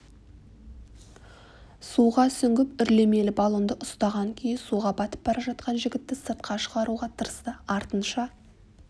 суға сүңгіп үрлемелі баллонды ұстаған күйі суға батып бара жатқан жігітті сыртқа шығаруға тырысты артынша